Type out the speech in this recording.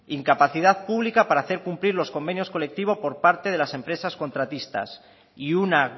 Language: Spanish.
incapacidad pública para hacer cumplir los convenios colectivos por parte de las empresas contratistas y una